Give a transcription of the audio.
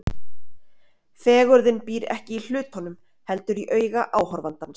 Fegurðin býr ekki í hlutunum, heldur í auga áhorfandans.